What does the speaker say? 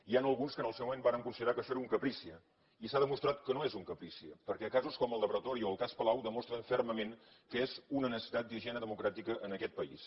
hi han alguns que en el seu moment varen considerar que això era un caprici i s’ha demostrat que no és un caprici perquè casos com el pretòria o el cas palau demostren fermament que és una necessitat d’higiene democràtica en aquest país